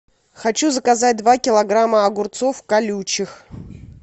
хочу заказать два килограмма огурцов колючих